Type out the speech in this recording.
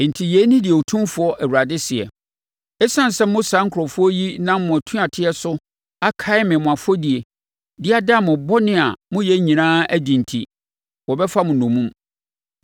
“Enti yei ne deɛ Otumfoɔ Awurade seɛ: ‘Esiane sɛ mo saa nkurɔfoɔ yi nam mo atuateɛ so akae me mo afɔdie, de ada mo bɔne a moyɛ nyinaa adi enti, wɔbɛfa mo nnommum.